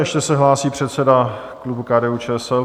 Ještě se hlásí předseda klubu KDU-ČSL.